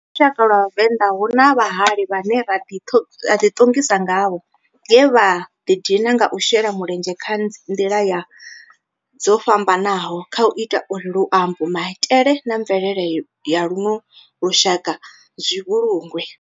Kha lushaka lwa Vhavenda, hu na vhahali vhane ra di tongisa ngavho nge vha di dina nga u shela mulenzhe nga ndila dzo fhambananaho khau ita uri luambo, maitele na mvelele ya luno lushaka zwi vhulungwe.